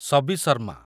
Sabi Sharma